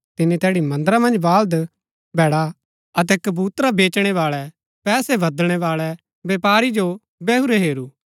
तिनी तैड़ी मन्दरा मन्ज बाल्द भैडा अतै कबूतरा बेचणै बाळै पैसै बदलणै बाळै वैपारियो बैहुरै हेरु